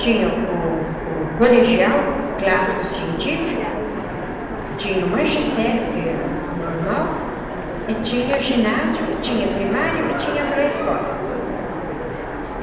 Tinha o o colegial clássico científico, tinha o magistério, que é o normal, e tinha ginásio, e tinha primário, e tinha pré-escola.